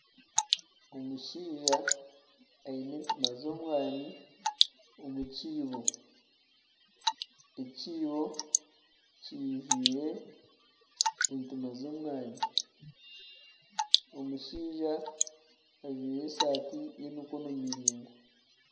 Omushaija aine entiima z'omwaani omu kiibo, ekiibo kiijwire entiima z'omwaani omushaija ajwaire esaati y'emikono miraingwa.